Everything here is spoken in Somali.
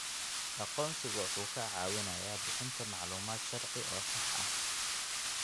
Aqoonsigu wuxuu kaa caawinayaa bixinta macluumaad sharci oo sax ah.